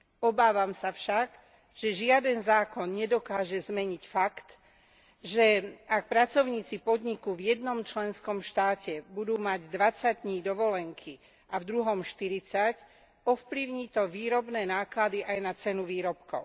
Obávam sa však, že žiaden zákon nedokáže zmeniť fakt, že ak pracovníci podniku v jednom členskom štáte budú mať dvadsať dní dovolenky a v druhom štyridsať, ovplyvní to výrobné náklady aj na cenu výrobkov.